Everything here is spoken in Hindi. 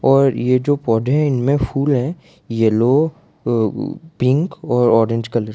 और यह तो पौधे में फूल है येलो पिंक और ऑरेंज कलर के।